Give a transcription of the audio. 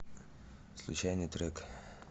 случайный трек